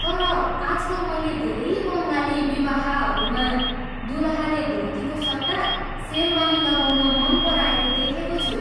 तर, आजकल मैले धेरै बङ्गाली विवाहहरूमा दुलहाले धोतीको सट्टा सेरवानी लगाउन मन पराएको देखेको छु।